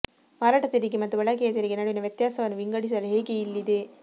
ಮಾರಾಟ ತೆರಿಗೆ ಮತ್ತು ಬಳಕೆಯ ತೆರಿಗೆ ನಡುವಿನ ವ್ಯತ್ಯಾಸವನ್ನು ವಿಂಗಡಿಸಲು ಹೇಗೆ ಇಲ್ಲಿದೆ